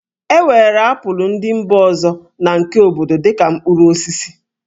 E weere apụl ndị mba ọzọ na nke obodo dị ka mkpụrụ osisi